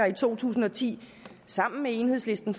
i to tusind og ti sammen med enhedslisten